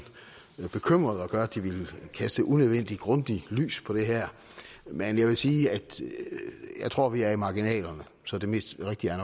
bekymrede og gøre at de ville kaste unødvendigt grundigt lys på det her men jeg vil sige at jeg tror vi er i marginalerne så det mest rigtige